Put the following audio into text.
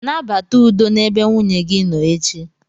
Nabata udo n'ebe nwunye gị nọ echi.